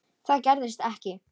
Það gerist ekki,